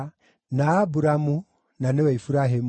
na Aburamu (na nĩwe Iburahĩmu).